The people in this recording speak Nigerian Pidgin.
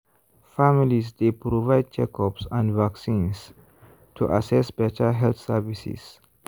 families dey provide checkups and vaccines to access better health services.